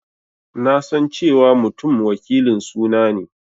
Na san cewa Mutum wakilin suna ne.